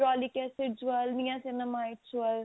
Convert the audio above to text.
acids